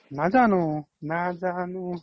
নাজানো নাজানো